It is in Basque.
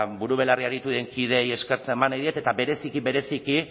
buru belarri aritu den kideei eskerrak eman nahi diet eta bereziki bereziki